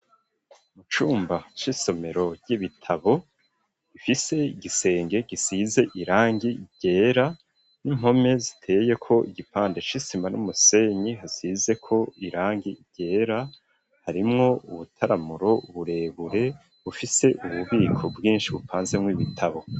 Mu cumba c'isomero ry'ibitabo rifise igisenge gisize irangi ryera n'impome ziteye ko igipande c'isima n'umusenyi hasize ko irangi ryera harimwo ubutaramuro burebure bufise ububiko bwinshi bupanze mwo ibitabo.